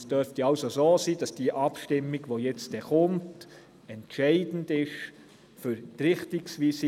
Es dürfte also so sein, dass die folgende Abstimmung entscheidend für die Richtung ist.